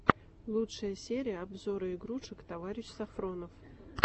лучшая серия обзоры игрушек товарищ сафронов